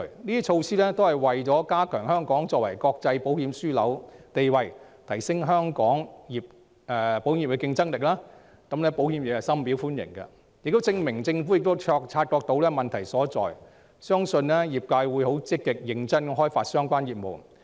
這些措施旨在加強香港作為國際保險樞紐的地位，提升香港保險業的競爭力，保險業界深表歡迎，亦證明政府已察覺問題所在，相信業界會積極和認真地開發相關業務。